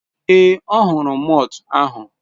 Ee, ọ hụrụ malt ahụ.